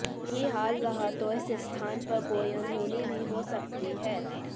यही हाल रहा तो इस स्थान पर कोई अनहोनी भी हो सकती है